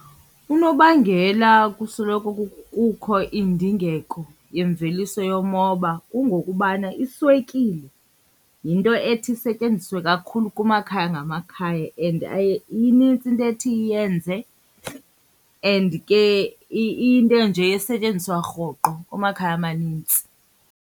Unobangela kusoloko kukho indingeko yemveliso yomoba kungokubana iswekile yinto ethi isetyenziswe kakhulu kumakhaya ngamakhaya and inintsi into ethi iyenze and ke iyinto nje esetyenziswa rhoqo kumakhaya amanintsi.